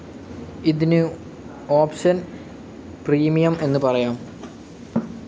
ഇതിനു option premium എന്ന് പറയാം.